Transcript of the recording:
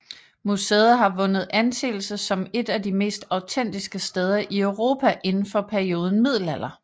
Museet har vundet anseelse som et af de mest autentiske steder i Europa inden for perioden middelalder